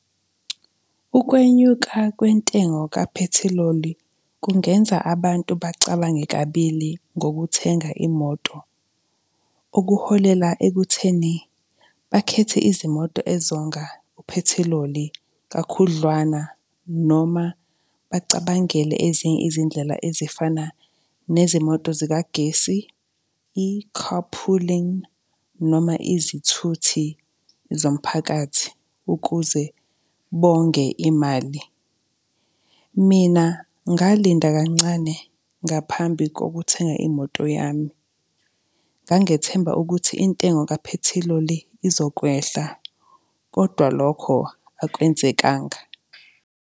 Ukwenyuka kwentengo kaphethiloli kungenza abantu bacabange kabili ngokuthenga imoto. Okuholela ekutheni bakhethe izimoto ezonga uphethiloli kakhudlwana, noma bacabangele ezinye izindlela ezifana nezimoto zikagesi, i-carpooling, noma izithuthi zomphakathi, ukuze bonge imali. Mina ngalinda kancane ngaphambi kokuthenga imoto yami. Ngangethemba ukuthi intengo kaphethiloli izokwehla, kodwa lokho akwenzekanga.